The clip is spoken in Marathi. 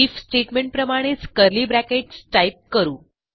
IFस्टेटमेंटप्रमाणेच कर्ली ब्रॅकेट्स टाईप करू